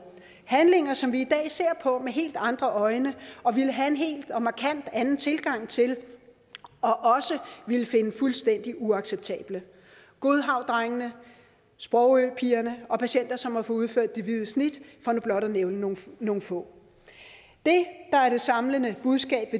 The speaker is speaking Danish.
handlinger som vi i dag ser på med helt andre øjne og ville have en helt anden en markant anden tilgang til og også ville finde fuldstændig uacceptable godhavndrengene sprogøpigerne og patienter som har fået udført det hvide snit for nu blot at nævne nogle nogle få det der er det samlede budskab